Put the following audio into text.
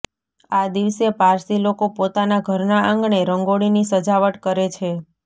આ દિવસે પારસી લોકો પોતાના ઘરના આંગણે રંગોળીની સજાવટ કરે છે